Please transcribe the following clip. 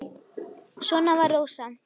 Svona var Rósa.